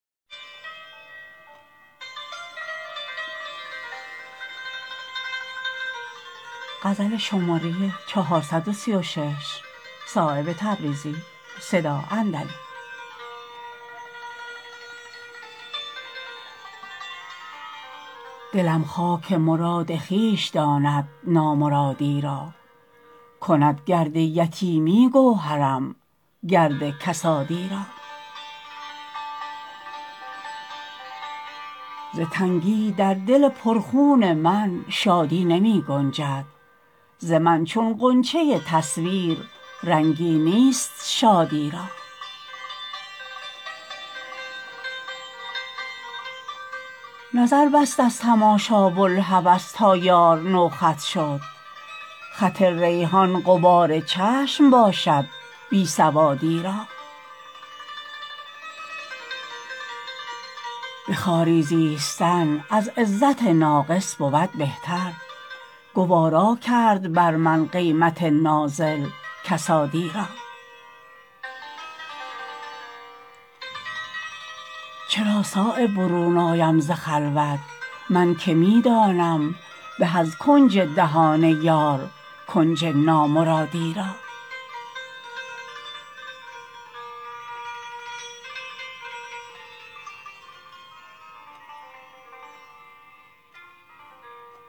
دلم خاک مراد خویش داند نامرادی را کند گرد یتیمی گوهرم گرد کسادی را ز تنگی در دل پر خون من شادی نمی گنجد ز من چون غنچه تصویر رنگی نیست شادی را نظر بست از تماشا بوالهوس تا یار نو خط شد خط ریحان غبار چشم باشد بی سوادی را به خواری زیستن از عزت ناقص بود بهتر گوارا کرد بر من قیمت نازل کسادی را چرا صایب برون آیم ز خلوت من که می دانم به از کنج دهان یار کنج نامرادی را